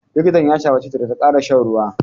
Likitan ya shawarce ta da ta ƙara shan ruwa.